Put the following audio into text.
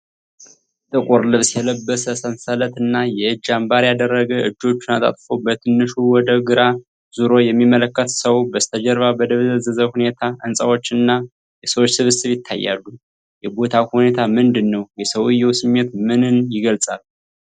ጥቁር ልብስ የለበሰ፣ ሰንሰለት እና የእጅ አምባር ያደረገ፣ እጆቹን አጣጥፎ በትንሹ ወደ ግራ ዞሮ የሚመለከት ሰው። በስተጀርባ በደበዘዘ ሁኔታ ሕንፃዎች እና የሰዎች ስብስብ ይታያሉ፤ የቦታው ሁኔታ ምንድን ነው? የሰውየው ስሜት ምንን ይገልጻል?